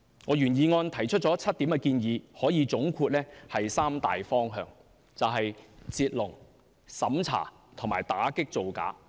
我原議案提出7項建議，可以總括為三大方向："截龍"、審查和打擊造假。